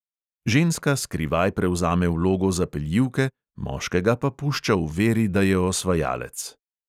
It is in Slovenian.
Ženska skrivaj prevzame vlogo zapeljivke, moškega pa pušča v veri, da je osvajalec.